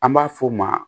An b'a f'o ma